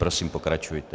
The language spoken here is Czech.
Prosím, pokračujte.